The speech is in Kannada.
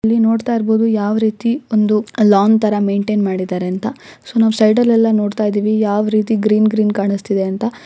ಇಲ್ಲಿ ನೋಡ್ತಾ ಇರಬಹುದು ಯಾವ ರೀತಿ ಒಂದು ಲಾಂಗ್ ತರ ಮೆಂಟೇನ್ ಮಾಡಿದ್ದಾರೆ ಅಂತ ಸೊ ನಾವ್ ಸೈಡ ಲ್ಲೆಲ್ಲ ನೋಡ್ತಾ ಇದೀವಿ ಯಾವ್ ರೀತಿ ಗ್ರೀನ್ ಗ್ರೀನ್ ಕಾಣಿಸ್ತಿದೆ ಅಂತ.